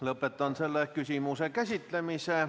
Lõpetan selle küsimuse käsitlemise.